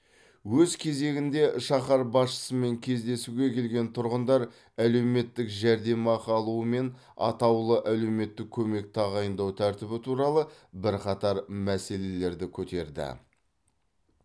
өз кезегінде шаһар басшысымен кездесуге келген тұрғындар әлеуметтік жәрдемақы алу мен атаулы әлеуметтік көмек тағайындау тәртібі туралы бірқатар мәселелерді көтерді